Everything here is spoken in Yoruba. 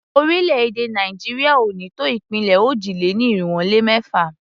Orílẹ̀-èdè Nàìjíríà ò ní tó ìpínlẹ̀ òjì-lé-ní-irinwó-lé-mẹ́fà.